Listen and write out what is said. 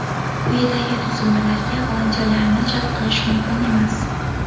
Quyidagi tuzilmalarga volontyorlarni jalb qilish mumkin emas:.